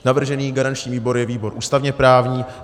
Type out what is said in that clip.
Navržený garanční výbor je výbor ústavně-právní.